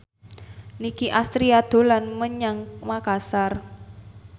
Nicky Astria dolan menyang Makasar